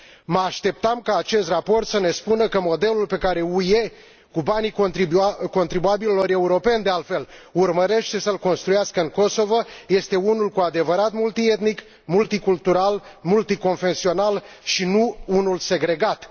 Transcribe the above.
Mă așteptam ca acest raport să ne spună că modelul pe care UE, cu banii contribuabililor europeni, de altfel, urmărește să l construiască în Kosovo, este unul cu adevărat, multietnic, multicultural, multiconfesional și nu unul segregat.